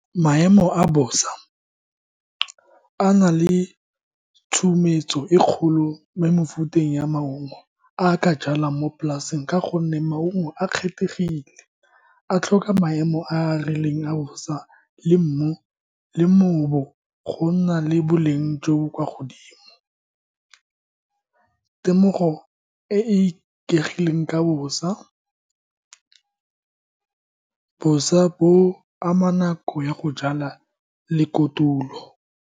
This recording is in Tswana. Maemo a bosa a na le tshumetso e kgolo mo mofuteng ya maungo a ka jalwang mo polaseng ka gonne maungo a kgethegile, a tlhoka maemo a a rileng a bosa le mmu go nna le boleng jo bo kwa godimo. Temogo e e ikegileng ka bosa, bosa bo ama nako ya go jala le kotulo.